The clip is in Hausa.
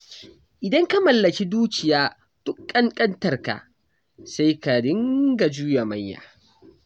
Idan ka mallaki dukiya duk ƙanƙantarka, sai ka dinga juya manya.